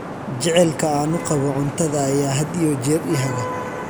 Jacaylka aan u qabo cuntada ayaa had iyo jeer i haga.